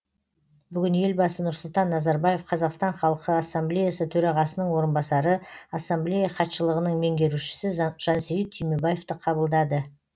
бүгін елбасы нұрсұлтан назарбаев қазақстан халқы ассамблеясы төрағасының орынбасары ассамблея хатшылығының меңгерушісі жансейіт түймебаевты қабылдады